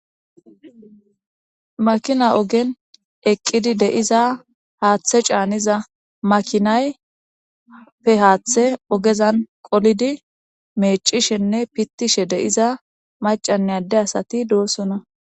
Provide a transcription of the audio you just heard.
Makina ogen eqqidi de'iza haaththe caaniza makinappe haaththeza qolidi meeccishenne pittishe de'iza maccanne adde asati doosona.